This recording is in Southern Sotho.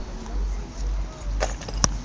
tholang re se re le